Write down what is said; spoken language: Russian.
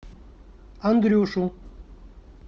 андрюшу